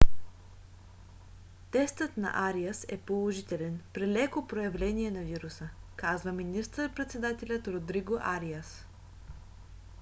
тестът на ариас е положителен при леко проявление на вируса казва министър-председателят родриго ариас